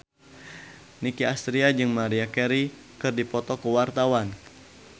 Nicky Astria jeung Maria Carey keur dipoto ku wartawan